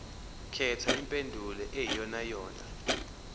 khetha impendulo eyiyonayona